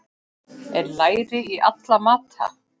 Er læri í alla mata?